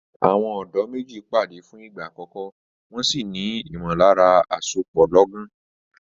Àwọn ọ̀dọ́ méjì pàdé fún ìgbà àkọ́kọ́, wọn sì ní ìmọ̀lára àsopọ̀ lọ́gán.